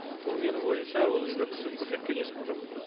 ол менің ойымша ол жерде қысым көрсеткен ешкім жоқ